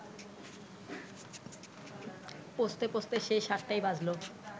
পৌঁছতে পৌঁছতে সেই সাতটাই বাজল